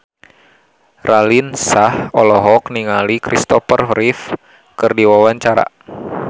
Raline Shah olohok ningali Christopher Reeve keur diwawancara